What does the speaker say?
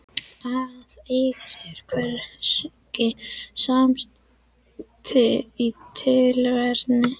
Að eiga sér hvergi samastað í tilverunni